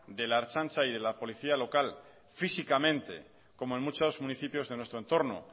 de la ertzaintza y de la policía local físicamente como en muchos municipios de nuestro entorno